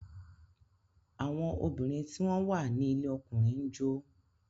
Àwọn obìnrin tí wọ́n wà ní ilé ọkùnrin ń jó.